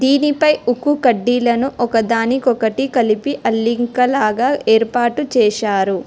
ఇది పై ఉక్కు కడ్డీలను ఒకదానికొకటి కలిపి అల్లింకలాగా ఏర్పాటు చేశారు.